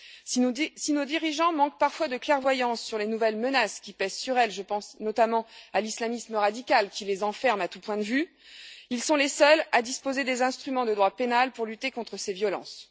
Si nos dirigeants manquent parfois de clairvoyance sur les nouvelles menaces qui pèsent sur elles je pense notamment à l'islamisme radical qui les enferme à tous points de vue ils sont les seuls à disposer des instruments de droit pénal pour lutter contre ces violences.